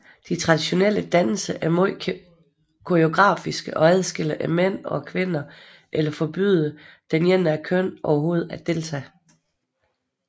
De traditionelle danse er meget koreografiske og adskiller mændene og kvinderne eller forbyder det ene af kønnet overhovedet at deltage